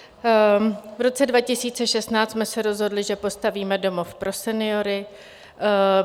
V roce 2016 jsme se rozhodli, že postavíme domov pro seniory.